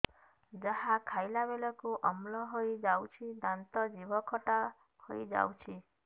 ଯାହା ଖାଇଲା ବେଳକୁ ଅମ୍ଳ ହେଇଯାଉଛି ଦାନ୍ତ ଜିଭ ଖଟା ହେଇଯାଉଛି